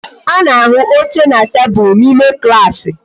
A na-ahụ oche na tebụl n'ime klaasị